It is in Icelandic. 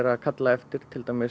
er kallað eftir